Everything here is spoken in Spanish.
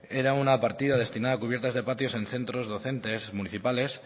era una partida destinada a cubiertas de patios en centros docentes municipales